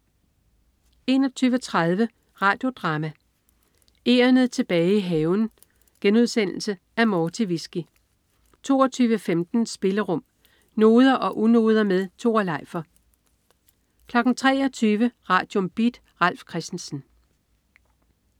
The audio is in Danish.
21.30 Radio Drama: Egernet tilbage til haven.* Af Morti Vizki 22.15 Spillerum. Noder og unoder med Tore Leifer 23.00 Radium. Beat. Ralf Christensen